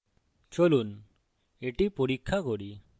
চলুন এটি পরীক্ষা করি